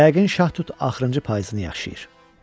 Yəqin şahtut axırıncı payızını yaşayır.